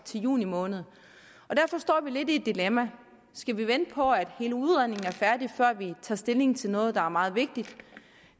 juni måned derfor står vi lidt i et dilemma skal vi vente på at hele udredningen er færdig før vi tager stilling til noget der er meget vigtigt